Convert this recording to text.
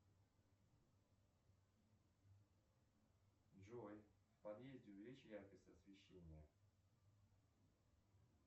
джой в подъезде увеличь яркость освещения